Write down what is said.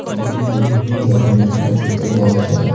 এখানে বিভিন্ন ধরনের জুতো পাওয়া যায়।